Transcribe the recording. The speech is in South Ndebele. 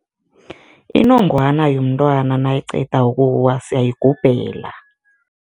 Inongwana yomntwana nayiqeda ukuwa siyayigubhela.